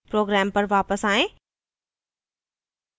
program पर वापस आएँ